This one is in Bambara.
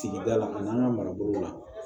Sigida la an n'an ka mara bolo la